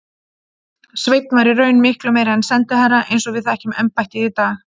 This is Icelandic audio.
Sveinn var í raun miklu meira en sendiherra eins og við þekkjum embættið í dag.